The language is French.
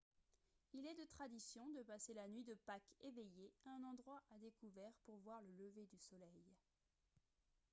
il est de tradition de passer la nuit de pâques éveillé à un endroit à découvert pour voir le lever du soleil